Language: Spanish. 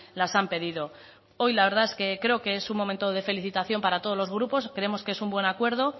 las han pedido hoy la verdad es que creo que es un momento de felicitación para todos los grupos creemos que es un buen acuerdo